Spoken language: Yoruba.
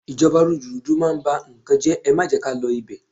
Ìjọba rúdurùdu máa ń bá n kan jẹ́, ẹ má jẹ́ ká lọ ibẹ̀.